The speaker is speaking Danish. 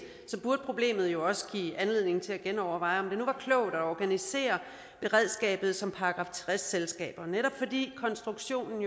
burde problemet jo også give anledning til at genoverveje om det nu var klogt at organisere beredskabet som § tres selskaber netop fordi konstruktionen